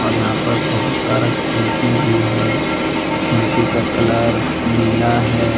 यहां पर बहुत सारा खिड़की भी है खिड़की का कलर नीला है।